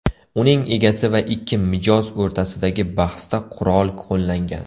Uning egasi va ikki mijoz o‘rtasidagi bahsda qurol qo‘llangan.